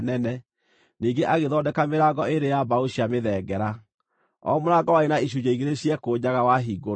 Ningĩ agĩthondeka mĩrango ĩĩrĩ ya mbaũ cia mĩthengera, o mũrango warĩ na icunjĩ igĩrĩ ciekũnjaga wahingũrwo.